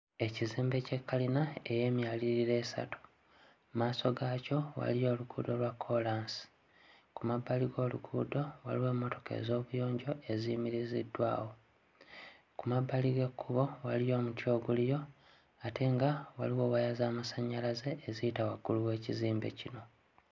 Ekizimbe ky'ekkalina eky'emyaliriro esatu. Mmaaso gaakyo waliyo oluguudo lwa kkoolaasi. Ku mmabbali g'oluguudo waliwo mmotoka ez'obuyonjo eziyimiriziddwawo. Ku mabbali g'ekkubo waliyo omuti oguliyo, ate nga waliyo waya z'amasannyalaze eziyita waggulu w'ekizimbe kino.